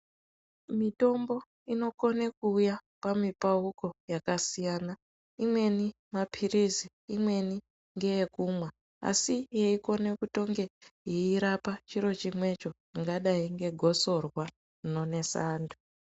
Mitombo inokone kuuya pamipauko yakasiyana. Imweni maphirizi, imweni ngeyekumwa, asi yeikone kutonge yeirapa chiro chimwecho ringadai ngegotsorwa rinonesa antu.